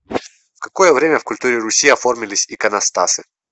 в какое время в культуре руси оформились иконостасы